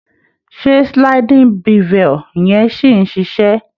Ṣé sliding bevel yẹn ṣì ń ṣiṣé?